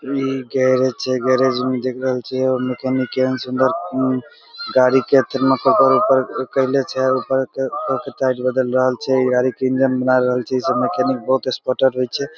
ई garage छै garage मे देख रहल छै मेकैनिक कहन सुन्दर गाड़ी के ऊपर ऊपर कईले छै ऊपर ते टायर बदल रहल छै ई गाड़ी के इंजिन बना रहल छै ई सब मेकैनिक बहुत एक्सपर्टर हुई छै।